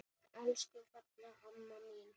Elsku fallega amma mín.